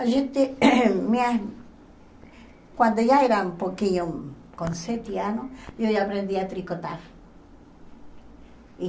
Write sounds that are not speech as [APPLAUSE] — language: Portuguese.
A gente, [COUGHS] minha quando já era um pouquinho, com sete anos, eu já aprendi a tricotar.